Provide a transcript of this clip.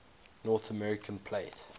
north american plate